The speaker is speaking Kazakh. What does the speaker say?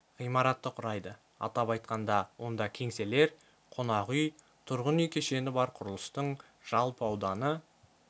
ғимаратты құрайды атап айтқанда онда кеңселер қонақ үй тұрғын үй кешені бар құрылыстың жалпы ауданы